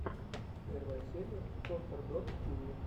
первая серия контор дот ти ви